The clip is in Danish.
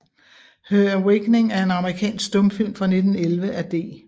Her Awakening er en amerikansk stumfilm fra 1911 af D